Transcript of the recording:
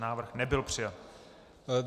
Návrh nebyl přijat.